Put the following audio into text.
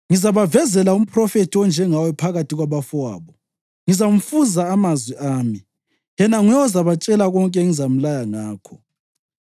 Ngizabavezela umphrofethi onjengawe phakathi kwabafowabo; ngizamfunza amazwi ami, yena nguye ozabatshela konke engizamlaya ngakho.